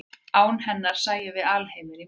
án hennar sæjum við alheiminn í móðu